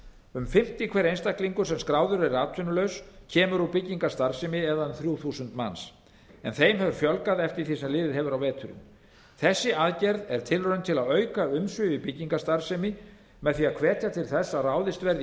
um fimmti hver einstaklingur sem skráður er atvinnulaus kemur úr byggingarstarfsemi eða um þrjú þúsund manns en þeim hefur fjölgað eftir því sem liðið hefur á veturinn þessi aðgerð er tilraun til að auka umsvif í byggingastarfsemi með því að hvetja til þess að ráðist verði í